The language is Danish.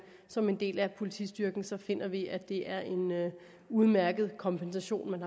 som en del af politistyrken så finder vi at det er en udmærket kompensation man